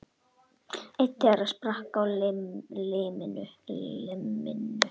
Einn þeirra sprakk á limminu